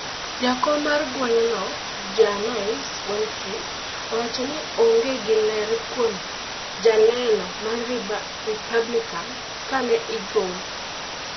Jakom mar gwengno Janice Winfrey owacho ni oonge gi ler kuom joneno ma Republican ka ne igolo.